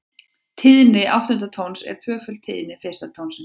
Tíðni áttunda tónsins er tvöföld tíðni fyrsta tónsins.